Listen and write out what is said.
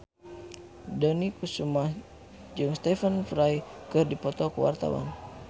Dony Kesuma jeung Stephen Fry keur dipoto ku wartawan